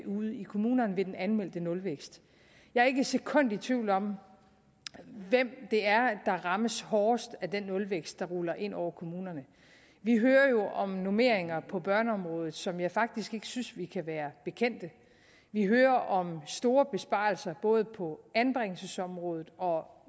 ude i kommunerne ved den anmeldte nulvækst jeg er ikke et sekund i tvivl om hvem det er der rammes hårdest af den nulvækst der ruller ind over kommunerne vi hører jo om normeringer på børneområdet som jeg faktisk ikke synes vi kan være bekendt vi hører om store besparelser både på anbringelsesområdet og